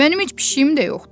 Mənim heç pişiyim də yoxdur.